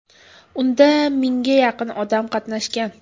Unda mingga yaqin odam qatnashgan.